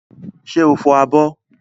Ṣé o fọ abọ́?